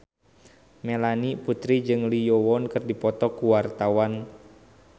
Melanie Putri jeung Lee Yo Won keur dipoto ku wartawan